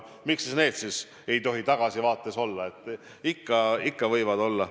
Miks siis ei tohi sellist tagasivaadet teha – ikka võib teha.